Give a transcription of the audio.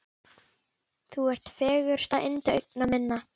Þú ert fegursta yndi augna minna.